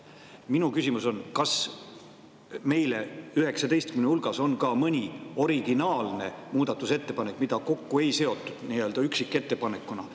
Minu küsimus on: kas nende 19 hulgas on ka mõni originaalne muudatusettepanek, mida üksikettepanekuna millegagi kokku ei seotud?